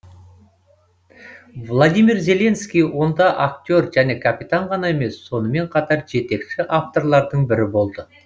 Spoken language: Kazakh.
владимир зеленский онда актер және капитан ғана емес сонымен қатар жетекші авторлардың бірі болды